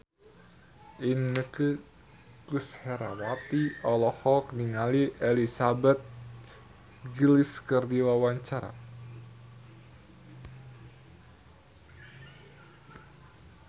Inneke Koesherawati olohok ningali Elizabeth Gillies keur diwawancara